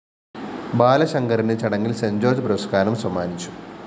ബാലശങ്കറിന് ചടങ്ങില്‍ സെന്റ്‌ജോര്‍ജ് പുരസ്‌കാരം സമ്മാനിച്ചു